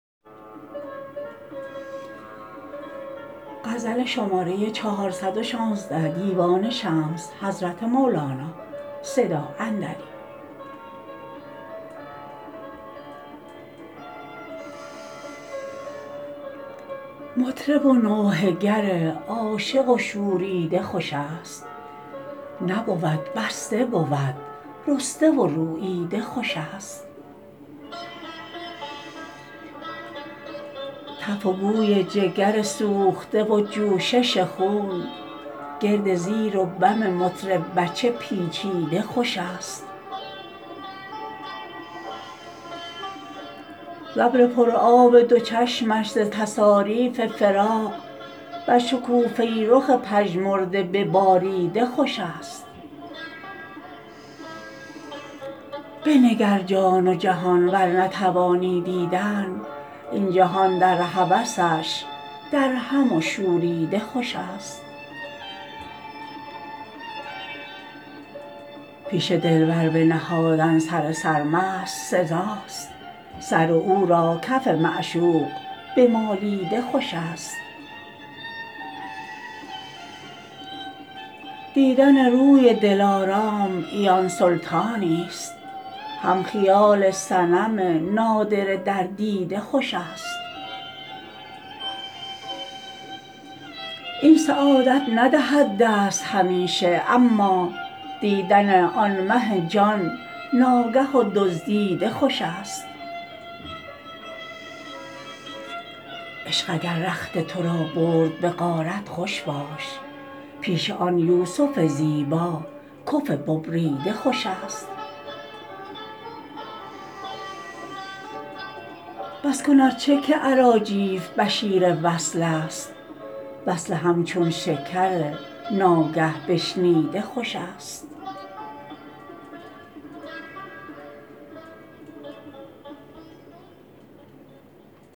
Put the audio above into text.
مطرب و نوحه گر عاشق و شوریده خوش است نبود بسته بود رسته و روییده خوش است تف و بوی جگر سوخته و جوشش خون گرد زیر و بم مطرب به چه پیچیده خوش است ز ابر پر آب دو چشمش ز تصاریف فراق بر شکوفه رخ پژمرده بباریده خوش است بنگر جان و جهان ور نتوانی دیدن این جهان در هوسش درهم و شوریده خوش است پیش دلبر بنهادن سر سرمست سزا است سر او را کف معشوق بمالیده خوش است دیدن روی دلارام عیان سلطانی است هم خیال صنم نادره در دیده خوش است این سعادت ندهد دست همیشه اما دیدن آن مه جان ناگه و دزدیده خوش است عشق اگر رخت تو را برد به غارت خوش باش پیش آن یوسف زیبا کف ببریده خوش است بس کن ار چه که اراجیف بشیر وصل است وصل همچون شکر ناگه بشنیده خوش است